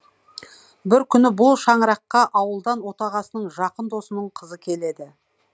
бір күні бұл шаңыраққа ауылдан отағасының жақын досының қызы келеді